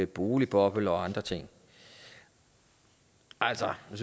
boligboble og andre ting altså jeg